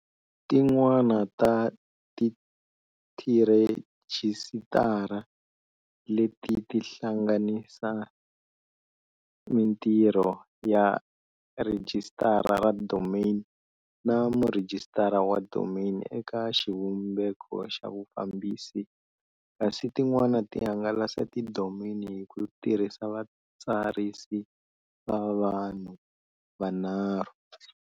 Tin'wana ta tirhejisitara leti ti hlanganisa mintirho ya rhijisitara ra domain na murhijisitara wa domain eka xivumbeko xa vufambisi, kasi tin'wana ti hangalasa tidomeni hi ku tirhisa vatsarisi va vanhu va vunharhu.